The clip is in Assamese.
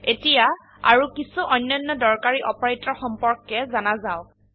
এতিয়া আৰো কিছো অন্যান্য দৰকাৰী অপাৰেটৰ সম্পৰ্কে জানা যাওক